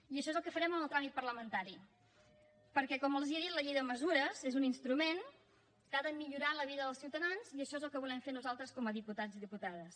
i això és el que farem en el tràmit parlamentari perquè com els he dit la llei de mesures és un instrument que ha de millorar la vida dels ciutadans i això és el que volem fer nosaltres com a diputats i diputades